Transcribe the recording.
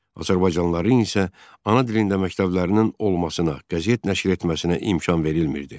Azərbaycanlıların isə ana dilində məktəblərinin olmasına, qəzet nəşr etməsinə imkan verilmirdi.